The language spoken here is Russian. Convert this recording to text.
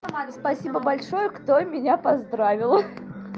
спасибо большое кто меня поздравил